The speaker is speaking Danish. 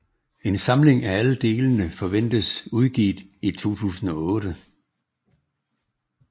En samling af alle delene forventes udgivet i 2008